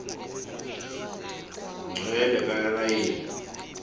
ngcwele ka rayeli